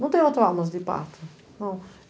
Não tenho traumas de parto.